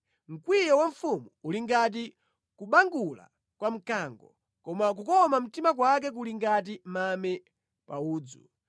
Mkwiyo wa mfumu uli ngati kubangula kwa mkango, koma kukoma mtima kwake kuli ngati mame pa udzu.